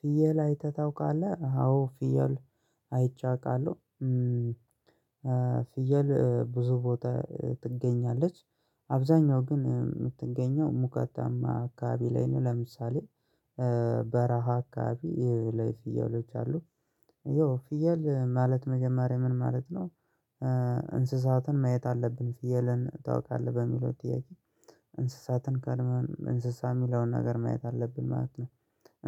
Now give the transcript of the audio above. "ፍየል አይተህ ታውቃለህ?" አዎ ፍየል አይቼ አውቃለሁ። ፍየል ብዙ ቦታ ትገኛለች። አብዛኛው ግን የምትገኘው ሙቀታማ አካባቢ ላይ ነው። ለምሳሌ በረሃ አካባቢ ላይ ፍየሎች አሉ። ያው ፍየል ማለት መጀመሪያ ምን ማለት ነው? እንስሳትን ማየት አለብን ፍየልን ታውቃለህ በሚለው ጥያቄ እንስሳትን ቀድመን እንስሳ የሚለውን ነገር ማየት አለብን ማለት ነው።